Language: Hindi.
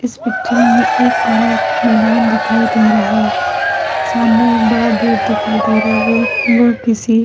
इस पिक्चर में एक बड़ा मैदान दिखाई दे रहा है सामने एक बड़ा गेट दिखाई दे रहा है वह किसी --